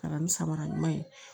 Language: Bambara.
Ka na ni samara ɲuman ye